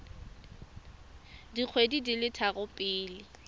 dikgwedi di le tharo pele